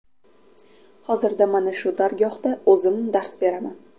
Hozirda mana shu dargohda o‘zim dars beraman.